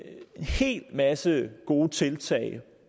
hel masse gode tiltag